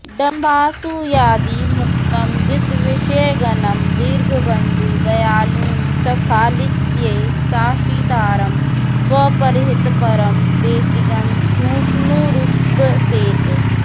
डम्भासूयादिमुक्तं जितविषयगणं दीर्घबन्धुं दयालुं स्खालित्ये शासितारं स्वपरहितपरं देशिकं भूष्णुरीप्सेत्